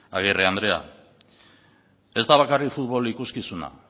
agirre andrea ez da bakarrik futbol ikuskizuna